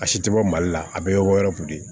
A si tɛ bɔ mali la a bɛɛ bɛ bɔ yɔrɔw de